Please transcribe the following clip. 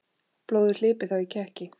Blóðið hlypi þá í kekki.